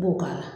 I b'o k'a la